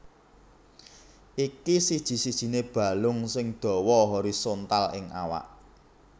Iki siji sijiné balung sing dawa horizontal ing awak